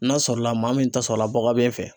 N'a sɔrɔla maa min ta sɔrɔla baga bɛ fɛ